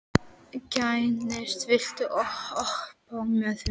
Gneisti, viltu hoppa með mér?